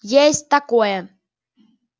есть такое